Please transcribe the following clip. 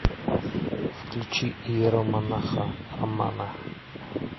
включи иеромонаха романа